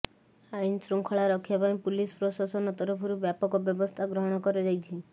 ଆଇନ ଶୃଙ୍ଖଳା ରକ୍ଷା ପାଇଁ ପୁଲିସ ପ୍ରଶାସନ ତରଫରୁ ବ୍ୟାପକ ବ୍ୟବସ୍ଥା ଗ୍ରହଣ କରାଯାଇଛି